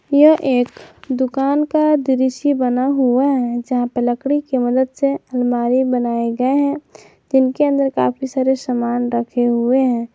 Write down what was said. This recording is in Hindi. यह एक दुकान का दृश्य बना हुआ है जहां पर लकड़ी की मदद से अलमारी बनाए गए हैं इनके अंदर काफी सारे सामान रखे हुए हैं।